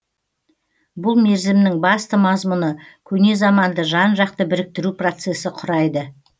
бұл мерзімнің басты мазмұны көне заманды жан жақты біріктіру процесі құрайды